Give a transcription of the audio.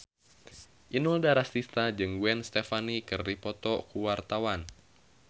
Inul Daratista jeung Gwen Stefani keur dipoto ku wartawan